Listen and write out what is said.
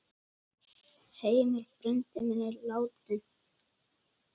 Heimir frændi minn er látinn.